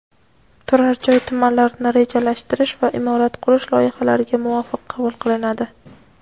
turar joy tumanlarini rejalashtirish va imorat qurish loyihalariga muvofiq qabul qilinadi.